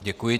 Děkuji.